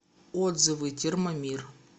отзывы термомир